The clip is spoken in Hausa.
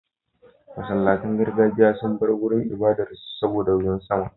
Masallatan gargajiya sun bar wurin ibadar su saboda ruwan sama.